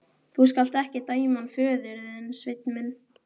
Þú skalt ekki dæma hann föður þinn, Sveinn minn.